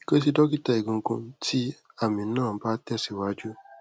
ke si dokita egungun ti ami na ba te si waju